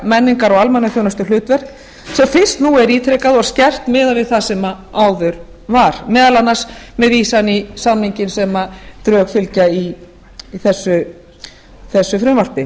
menningar og almannaþjónustuhlutverk sem fyrst nú er ítrekað og skerpt miðað við það sem áður var meðal annars með vísan í samninginn sem drög fylgja í þessu frumvarpi